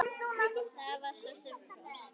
Það var sem sé frost.